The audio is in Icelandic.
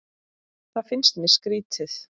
Það finnst mér skrýtið